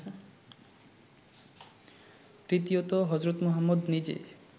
তৃতীয়ত হজরত মুহম্মদ নিজে